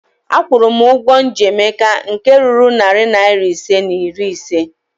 Akwụrụ m ụgwọ m ji Emeka nke ruru narị naịra ise na iri ise